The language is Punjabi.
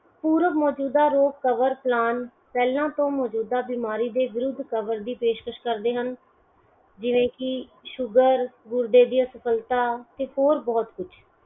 ਪੂਰਵ ਮੋਜੂਦਾ ਰੋਗ cover plan ਪਹਿਲਾਂ ਤੋਂ ਮੋਜੂਦਾ ਬਿਮਾਰੀ ਦੇ ਵਿਰੁਧ cover ਦੀ ਪੇਸ਼ਕਸ਼ ਕਰਦੇ ਹਨ ਜਿਵੇ ਕੀ ਸ਼ੁਗਰ ਗੁਰਦੇ ਦੀ ਅਸਫਲਤਾ ਤੇ ਹੋਰ ਬਹੁਤ ਕੁਛ